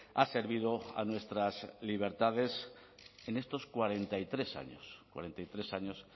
ha servido a nuestras libertades en estos cuarenta y tres años cuarenta y tres años